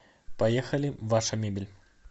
поехали ваша мебель